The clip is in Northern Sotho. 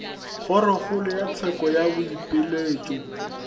kgorokgolo ya tsheko ya boipiletšo